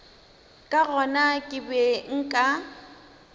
ka gona ke be nka